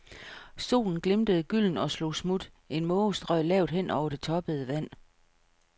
Solen glimtede gyldent og slog smut, en måge strøg lavt hen over det toppede vand.